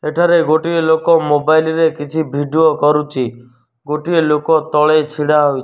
ଏଠାରେ ଗୋଟିଏ ଲୋକ ମୋବାଇଲ୍ ରେ କିଛି ଭିଡିଓ କରୁଚି ଗୋଟେ ଲୋକ ତଳେ ଛିଡ଼ା ହେଇଚି ।